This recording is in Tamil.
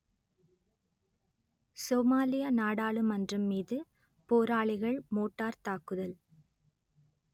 சோமாலிய நாடாளுமன்றம் மீது போராளிகள் மோட்டார் தாக்குதல்